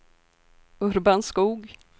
Urban Skog